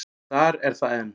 Og þar er það enn.